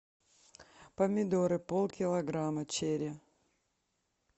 помидоры полкилограмма черри